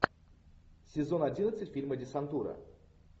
сезон одиннадцать фильма десантура